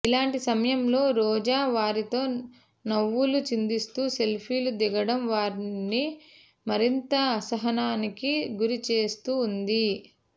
ఇలాంటి సమయంలో రోజా వారితో నవ్వులు చిందిస్తూ సెల్ఫీలు దిగడం వారిని మరింత అసహనానికి గురి చేస్తూ ఉంది